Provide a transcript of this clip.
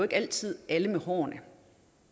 altid alle med hårene